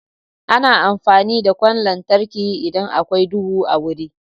Ana amfani da ƙwan lantarki idan akwai duhu a wuri.